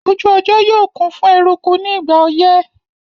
Ojú ọjọ́ yóò kún fún eruku ní ìgbà ọyẹ́